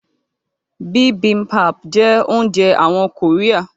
Bibimbap jẹ́ oúnjẹ àwọn kòríà